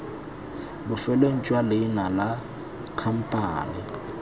bofelong jwa leina la khamphane